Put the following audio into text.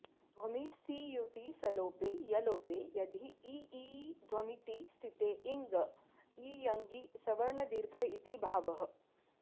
ध्वमि सीयुटि सलोपे यलोपे अधि इ ई ध्वमिति स्थिते इङ इयङि सवर्णदीर्घ इति भावः